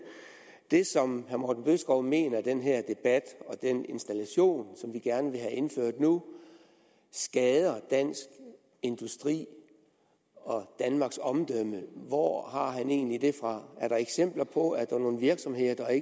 det som herre morten bødskov mener i den her debat nemlig at den installation som vi gerne vil have indført nu skader dansk industri og danmarks omdømme hvor har han egentlig det fra er der eksempler på at der er nogle virksomheder der